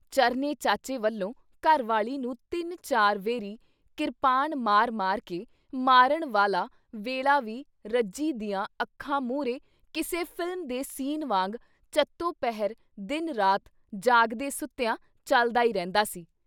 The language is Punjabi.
ਚਰਨੇ ਚਾਚੇ ਵੱਲੋਂ ਘਰ ਵਾਲੀ ਨੂੰ ਤਿੰਨ ਚਾਰ ਵੇਰੀ ਕਿਰਪਾਨ ਮਾਰ- ਮਾਰ ਕੇ ਮਾਰਨ ਵਾਲਾ ਵੇਲ਼ਾ ਵੀ ਰੱਜੀ ਦੀਆਂ ਅੱਖਾਂ ਮੂਹਰੇ ਕਿਸੇ ਫਿਲਮ ਦੇ ਸੀਨ ਵਾਂਗ ਚੱਤੋ-ਪਹਿਰ ਦਿਨ ਰਾਤ ਜਾਗਦੇ ਸੁੱਤਿਆਂ ਚੱਲਦਾ ਈ ਰਹਿੰਦਾ ਸੀ।